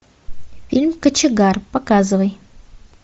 фильм кочегар показывай